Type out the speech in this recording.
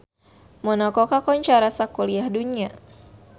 Monaco kakoncara sakuliah dunya